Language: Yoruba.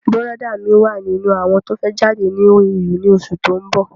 Bùrọ̀dá mí wà nínú àwọn tó fẹ́ jáde ní OAU ni osù tó ń bọ̀